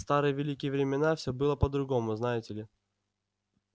в старые великие времена всё было по-другому знаете ли